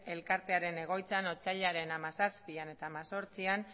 elkartearen egoitzan otsailaren hamazazpian eta hemezortzian